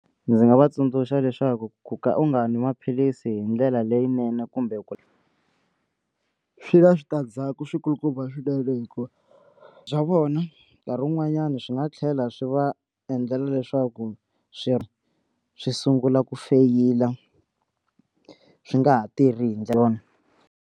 Ndzi nga va tsundzuxa leswaku ku ka u nga nwi maphilisi hi ndlela leyinene kumbe swi na switandzhaku swi kulukumba swinene hikuva bya vona nkarhi wun'wanyani swi nga tlhela swi va endlela leswaku swi swi sungula ku feyila swi nga ha tirhi hi ndlela yona.